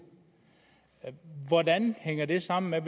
hvordan hænger det sammen med at